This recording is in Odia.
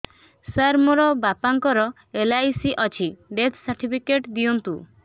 ସାର ମୋର ବାପା ଙ୍କର ଏଲ.ଆଇ.ସି ଅଛି ଡେଥ ସର୍ଟିଫିକେଟ ଦିଅନ୍ତୁ